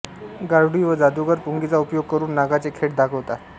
गारुडी व जादूगर पुंगीचा उपयोग करून नागांचे खेळ दाखवितात